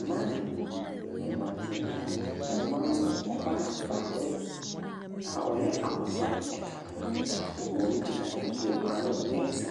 Mmaa nnan, mmarima nso nnan. Mmaa no ɔbaa baako a ɔyɛ abofra ɛka ho. Wɔn gyina ɛpo ano ɛsa.